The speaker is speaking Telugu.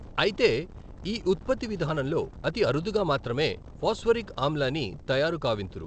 అయితే ఈ ఉత్పత్తి విధానంలో అతి అరుదుగా మాత్రమే ఫాస్పారిక్ ఆమ్లాన్ని తయారు కావింతురు.